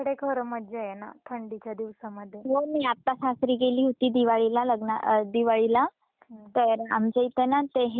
मी आत्ता सासरी गेली होती दिवाळीला लग्नं अ दिवाळीला तर आमच्या इथे ना ते हे ए पाण्याचा पाट गेलेला आहे.